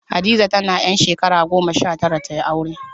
Hadiza tana ƴar shakara goma sha tara ta yi aure